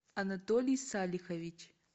анатолий салихович